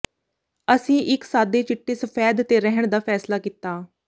ਅਸੀਂ ਇੱਕ ਸਾਦੇ ਚਿੱਟੇ ਸਫੈਦ ਤੇ ਰਹਿਣ ਦਾ ਫੈਸਲਾ ਕੀਤਾ